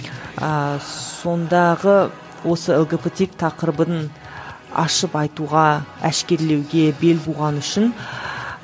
ыыы сондағы осы лгбт тақырыбын ашып айтуға әшкерелеуге бел буған үшін